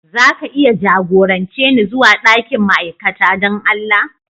Za ka iya jagorance ni zuwa dakin ma'aikata don Allah?